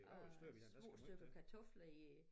Og små kartofler i